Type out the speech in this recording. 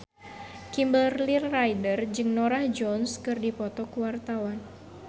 Kimberly Ryder jeung Norah Jones keur dipoto ku wartawan